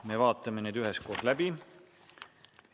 Me vaatame need üheskoos läbi.